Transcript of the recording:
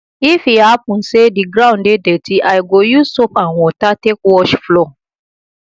if e hapun say di ground dey dirty i go use soap and water take wash floor